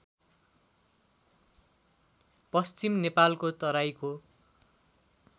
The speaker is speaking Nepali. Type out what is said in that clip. पश्चिम नेपालको तराईको